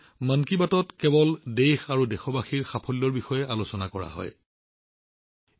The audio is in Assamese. মন কী বাতত কেৱল দেশ আৰু দেশবাসীৰ সাফল্যৰ বিষয়ে আলোচনা কৰা হৈছে বুলি ৰাইজে প্ৰশংসা কৰিছে